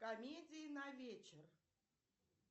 комедии на вечер